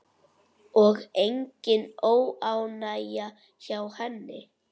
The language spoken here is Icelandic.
Og engin óánægja hjá henni?